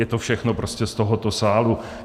Je to všechno prostě z tohoto sálu.